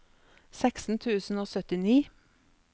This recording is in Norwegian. seksten tusen og syttini